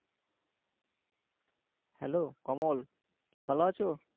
Hello Kamal, কি ভালো আছো?